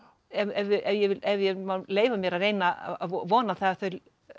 ef ég ef ég má leyfa mér að reyna að vona það að þau